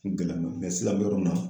Ko gɛlɛnma don sisan a n bɛ yɔrɔ min na